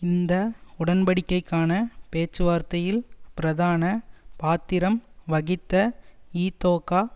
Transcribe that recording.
இந்த உடன்டிக்கைக்கான பேச்சுவார்த்தையில் பிரதான பாத்திரம் வகித்த இதொகா